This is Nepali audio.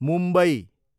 मुम्बई